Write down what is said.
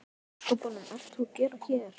Hvað í ósköpunum ert þú að gera hér?